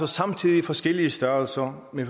samtidig forskellige størrelser med